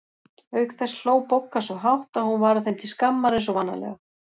Auk þess hló Bogga svo hátt að hún varð þeim til skammar eins og vanalega.